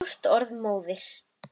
Stórt orð móðir!